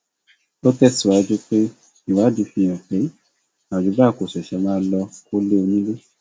ó tẹsíwájú pé ìwádìí fìhàn pé àyùbá kò ṣẹṣẹ máa lọọ kọlé onílé